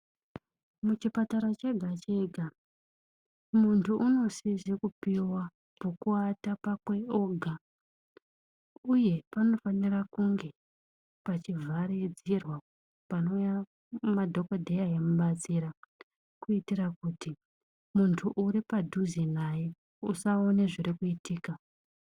Muchipatara chega chega muntu unosisa kupiwa pekuata pakwe ega uye panofanirwa kunge pane pekuvharidzirwa panouya madhokoteya emubatsira kutiitira kuti muntu ari padhuze naye asaona zvinenge zviri kuitika .